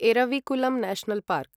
Eravikulam National park